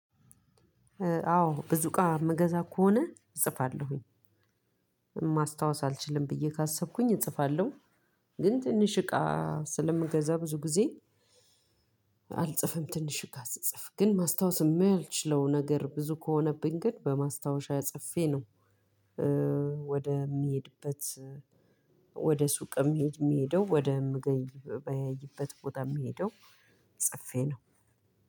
አዎ ብዙ እቃ የምገዛ ከሆነ እጽፋለሁኝ ማስታወስ አልችልም ብዬ ካሰብኩኝ እጽፋለሁ። ግን ትንሽ እቃ ስለምገዛ ብዙ ጊዜ አልጽፍም ትንሽ ጋር ስጽፍ ግን ማስታወስ የማልችለው ነገር ብዙ ከሆነብኝ ግን በማስታወሻ ጽፌ ነው። ወደምሄድበት ወደ ሱቅ የምሄድ የምሄደው ወደ ምግ ምገበያይበት ቦታ የምሄደው ጽፌ ነው።